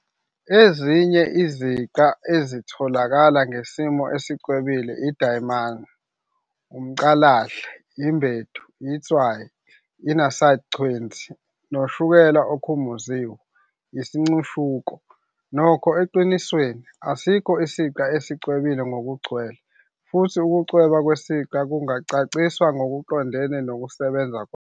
Ezinye iziqa ezitholakala ngesimo esicwebile idayimani, umcalahle, imbedu, itswayi, inaside chwenzi, noshukela okhumuziwe, isincishuko. Nokho, eqinisweni, asikho isiqa esicwebile ngokugcwele, futhi ukucweba kwesiqa kungacaciswa ngokuqondene nokusebenza kwaso.